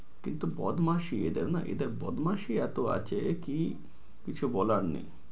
কিন্তু বদমাসি এদের না এদের বদমাসি এত আছে কি কিছু বলার নেই।